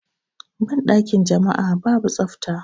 Banɗakin jama'a babu tsafta.